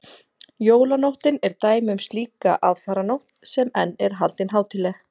jólanóttin er dæmi um slíka aðfaranótt sem enn er haldin hátíðleg